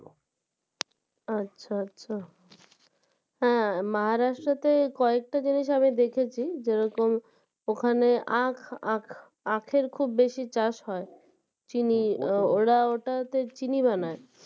আচ্ছা আচ্ছা হ্যাঁ Maharashtra তে কয়েকটা জিনিস আমি দেখেছি যেরকম ওখানে আখ আখ আখের খুব বেশি চাষ হয় চিনি ওরা ওটাতে চিনি বানায়